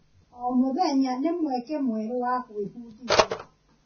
O mũthenya nĩ mweke mwerũ wa gwĩbundithia.